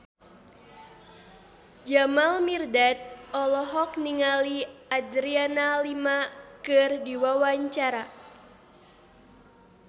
Jamal Mirdad olohok ningali Adriana Lima keur diwawancara